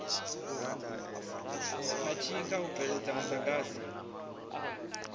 na tshikha u bveledza muḓagasi